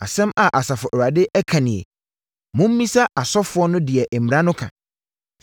“Asɛm a Asafo Awurade ka nie: ‘Mommisa asɔfoɔ no deɛ mmara no ka.